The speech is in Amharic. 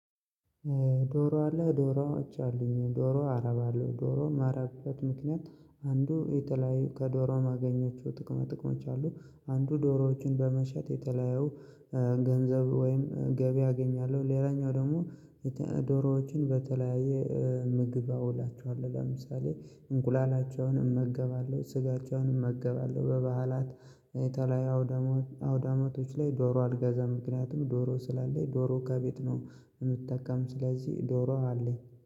ዶሮ አለ ዶሮዎች አሉኝ ዶሮ አረባለው ዶሮ ማረባበት ምክንያት አንዱ የተለያዩ ከዶሮ ማገኛቸው ጥቅመ ጥቅሞች አሉ አንዱ ዶሮዎችን በመሸጥ የተለያየው ገንዘብ ወይም ገቢ አገኛለሁ። ሌላኛው ደግሞ ደሮውችን በተለያየ ምግብ አውላችኋለሁ ለምሳሌ እንቁላላችኋን እመገባለሁ ስጋችኋን እመገባለሁ። በበዓላት የተለያዩ አውዳማቶች ላይ ዶሮ አልገዛም ምክንያቱም ዶሮ ስላለኝ ዶሮ ከቤት ነው የምትጠቀም ስለዚህ ዶሮ አለኝ